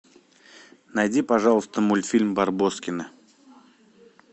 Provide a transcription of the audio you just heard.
найди пожалуйста мультфильм барбоскины